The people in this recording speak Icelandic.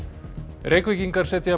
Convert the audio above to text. Reykvíkingar setja